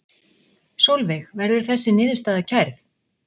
Sólveig: Verður þessi niðurstaða kærð?